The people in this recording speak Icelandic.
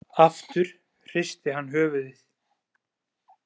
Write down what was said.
Aftur hristi hann höfuðið.